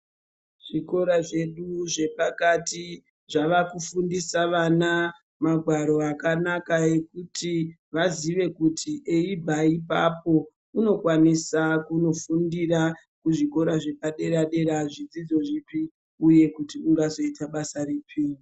Zvikora zvepakati zvava kufundisa vana magwaro akanaka ekuti zvikora zvedu zvepakati zvava kufundisa vana magwaro akanaka ekuti vaziye kuti eibva ipapo unokwanisa kunofundira kuzvikora zvepadera - dera zvidzidzo zvipi uye kuti ungazoite basa ripi.